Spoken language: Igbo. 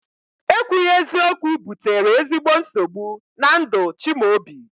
Ekwughi eziokwu butere ezigbo nsogbu na ndụ Chimaobi